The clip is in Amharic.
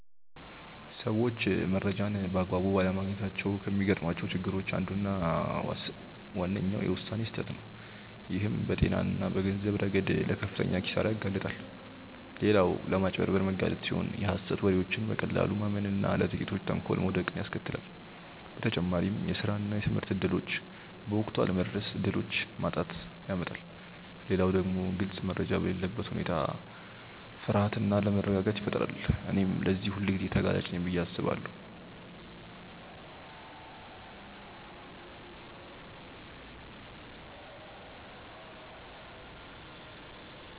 ሰዎች መረጃን በአግባቡ ባለማግኘታቸው ከሚገጥሟቸው ችግሮች አንዱና ዋነኛው የውሳኔ ስህተት ነው፣ ይህም በጤና እና በገንዘብ ረገድ ለከፍተኛ ኪሳራ ያጋልጣል። ሌላው ለማጭበርበር መጋለጥ ሲሆን የሀሰት ወሬዎችን በቀላሉ ማመን እና ለጥቂቶች ተንኮል መውደቅን ያስከትላል። በተጨማሪም የስራ እና የትምህርት እድሎች በወቅቱ አለመድረስ እድሎችን ማጣትን ያመጣል። ሌላው ደግሞ ግልጽ መረጃ በሌለበት ሁኔታ ፍርሃት እና አለመረጋጋት ይፈጠራል። እኔም ለዚህ ሁልጊዜ ተጋላጭ ነኝ ብዬ አስባለሁ።